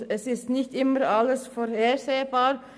Es ist auch nicht immer alles vorhersehbar.